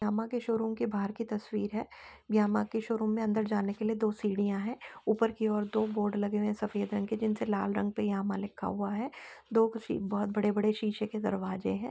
Yamaha के showroom के बाहर की तस्वीर है। यामाहा के शोरूम में अंदर जाने के लिए दो सीढ़ियां हैं। ऊपर की ओर दो बोर्ड लगे हुए है सफेद रंग के जिनसे लाल रंग से यहाँ पे यामाहा लिखा हुआ है। दो कशी दो बहुत बड़े-बड़े शीशे के दरवाजे है।